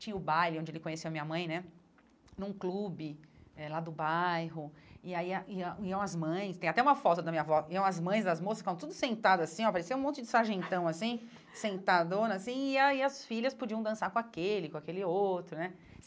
tinha o baile, onde ele conheceu a minha mãe né, num clube eh lá do bairro, e aí ah ia iam as mães, tem até uma foto da minha avó, iam as mães das moças, ficavam tudo sentadas assim, ó, parecia um monte de sargentão assim, sentadona assim, e aí as filhas podiam dançar com aquele, com aquele outro, né?